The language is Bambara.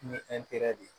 Ni de ye